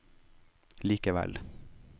likevel